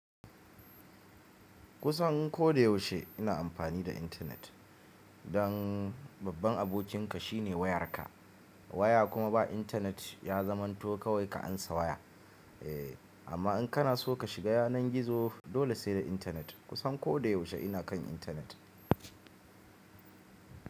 Kusan ko da yaushe ina amfani da internet. Don babban abokinka shine wayarka. Waya kuma ba intanet ya zamanto kawai ka ansa waya. Eh amma in kana so ka shiga yanar gizo dole sai da internet. Kusan ko da yaushe ina kan internet.